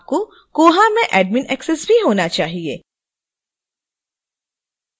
और आपको koha में admin access भी होना चाहिए